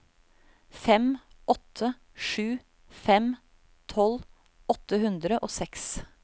fem åtte sju fem tolv åtte hundre og seks